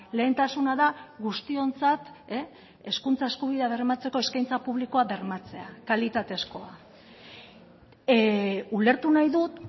lehentasuna da guztiontzat hezkuntza eskubidea bermatzeko eskaintza publikoa bermatzea kalitatezkoa ulertu nahi dut